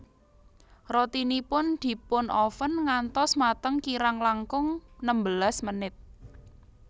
Rotinipun dipunoven ngantos mateng kirang langkung nembelas menit